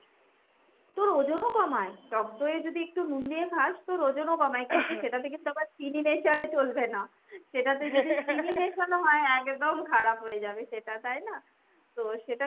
তোর ওজন ও কমায়। টক দই এ যদি একটু নুন দিয়ে খাস তোর ওজন ও কমায়। কিন্তু সেটাতে কিন্তু আবার চিনি মেশালে চলবে না। সেটাতে যদি চিনি মেশানো হয় একদম খারাপ হয়ে যাবে সেটা তাই না ? তো সেটা,